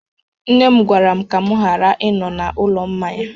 Nne m gwara m ka m ghara ịnọ n'ụlọ mmanya